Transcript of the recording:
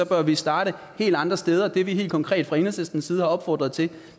bør vi starte helt andre steder det vi helt konkret fra enhedslistens side har opfordret til